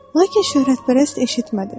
Lakin şöhrətpərəst eşitmədi.